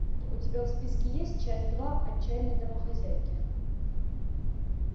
у тебя в списке есть часть два отчаянные домохозяйки